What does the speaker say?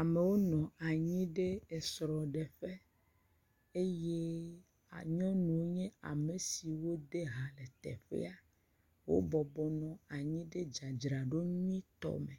Amewo nɔ anyi ɖe esrɔ̃ɖeƒe eye nyɔnuwo nye ame siwo de ha le teƒea, wobɔbɔ nɔ anyi ɖe dzadzraɖo nyuitɔ me,